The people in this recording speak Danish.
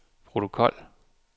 protokol